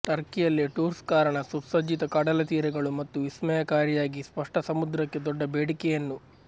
ಟರ್ಕಿಯಲ್ಲಿ ಟೂರ್ಸ್ ಕಾರಣ ಸುಸಜ್ಜಿತ ಕಡಲತೀರಗಳು ಮತ್ತು ವಿಸ್ಮಯಕಾರಿಯಾಗಿ ಸ್ಪಷ್ಟ ಸಮುದ್ರಕ್ಕೆ ದೊಡ್ಡ ಬೇಡಿಕೆಯನ್ನು